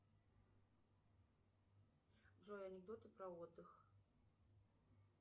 джой анекдоты про отдых